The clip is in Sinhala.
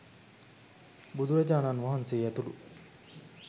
බුදුරජාණන් වහන්සේ ඇතුළු